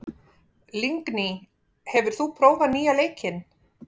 Lingný, hefur þú prófað nýja leikinn?